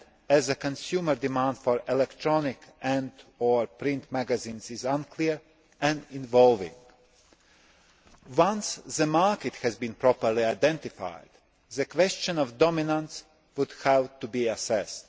as the consumer demand for electronic and or print magazines is unclear and evolving. Once the market has been properly identified, the question of dominance would have to be assessed.